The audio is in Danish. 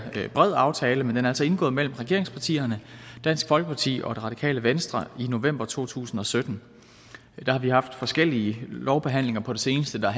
bred aftale men den er altså indgået mellem regeringspartierne dansk folkeparti og det radikale venstre i november to tusind og sytten der har vi haft forskellige lovbehandlinger på det seneste der